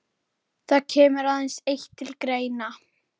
Þetta stemmir sem sagt allt við söguna.